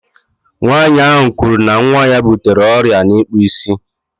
Nwaanyị ahu kwuru na nwa ya butere ọrịa n'ikpụ isi